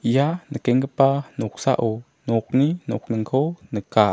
ia nikenggipa noksao nokni nokningko nika.